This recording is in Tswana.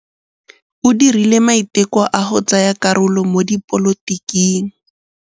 O dirile maitekô a go tsaya karolo mo dipolotiking.